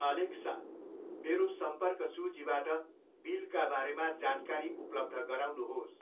Alexa, मेरो सम्पर्क सूचीबाट बिलका बारेमा जानकारी उपलब्ध गराउनुहोस्